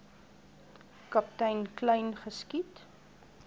kaptein kleyn geskiet